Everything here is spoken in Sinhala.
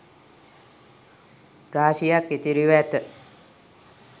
රාශියක් ඉතිරිව ඇත